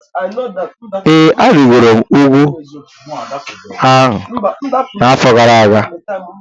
Ee, arịgoro m ugwu a n'afọ gara aga